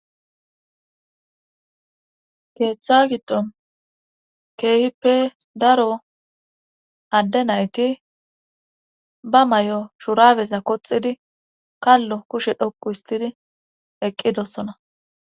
Keeththa gidon keehippe daro adde nayti ba may7o shurabeza koxidi kallo kushe dhokku histidi eqqidossona.